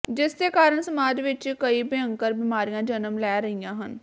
ਜਿਸ ਦੇ ਕਾਰਨ ਸਮਾਜ ਵਿਚ ਕਈ ਭਿਅੰਕਰ ਬਿਮਾਰੀਆਂ ਜਨਮ ਲੈ ਰਹੀਆਂ ਹਨ